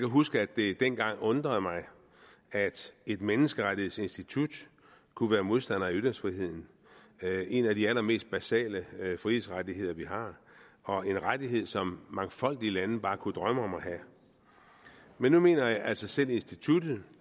huske at det dengang undrede mig at et menneskerettighedsinstitut kunne være modstander af ytringsfriheden en af de allermest basale frihedsrettigheder vi har og en rettighed som mangfoldige lande bare kunne drømme om at have men nu mener altså selv instituttet